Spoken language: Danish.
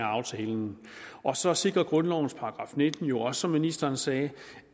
aftalen og så sikrer grundlovens § nitten jo også som ministeren sagde